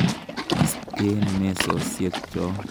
Isten mesosyek cho.